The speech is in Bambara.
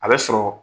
A bɛ sɔrɔ